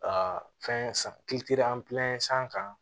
fɛn san kan